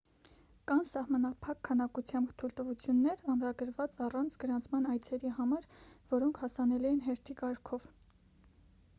կան սահմանափակ քանակությամբ թույլտվություններ ամրագրված առանց գրանցման այցերի համար որոնք հասանելի են հերթի կարգով